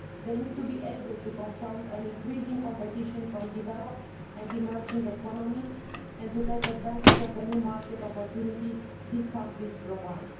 They need to be able to confront increasing competition from developed and emerging economies and to take advantage of the new market opportunities these countries provide.